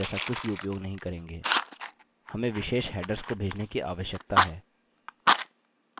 हम यहाँ from parameter जैसा कुछ भी उपयोग नहीं करेंगे